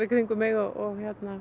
og